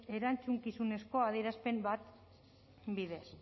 erantzukizuneko adierazpen batez bidez